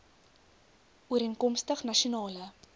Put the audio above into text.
ooreenkomstig nasion ale